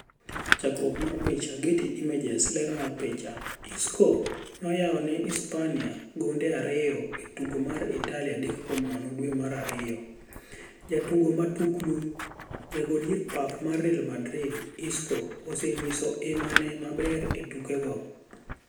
Chakruok mar picha, Getty Images. Ler mar picha, Isco noyaone Uhispania gonde ariyo e tuke mar Italia 3-0 dwe mar Ariyo. Jatugo matuklu: Jago dier papa mar Real Madrid, Isco, ose nyiso ima ne maber e tuke go.